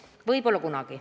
Võib-olla kunagi.